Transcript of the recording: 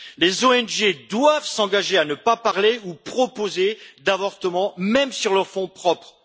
Les ONG doivent s'engager à ne pas parler ou à ne pas proposer d'avortement, même sur leurs fonds propres.